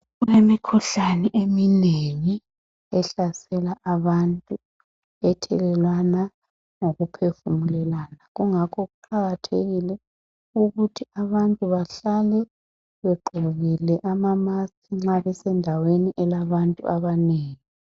Imikhuhlane eminengi ehlasela abantu ethelelwana ngokuphefumulelana. Kungakho kuqakathekile ukuthi abantu bahlale begqokile ama musk nxa besendaweni elabantu abanengi.